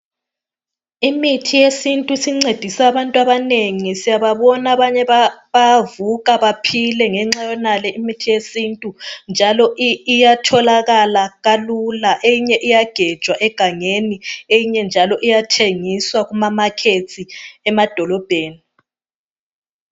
Imithi yesintu isincedise abantu abanengi siyababona abanye bayavuka bephile ngenxa yayonale imithi yesintu njalo iyatholakala lula eyinye iyagejwa egangeni eyinye njalo iyathengiswa emkambo emadolobheni.